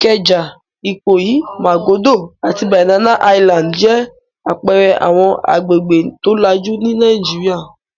Ìkẹjà, Ìkòyí, Màgódō àti Banana Island jẹ́ àpẹẹrẹ àwọn agbègbè tó lajú ní Nàìjíríà.